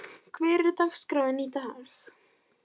Borg, hvernig er dagskráin í dag?